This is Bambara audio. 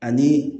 Ani